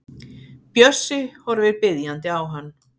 Bjössi horfir biðjandi á hann.